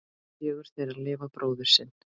Fjögur þeirra lifa bróður sinn.